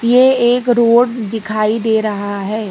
ये एक रोड दिखाई दे रहा है।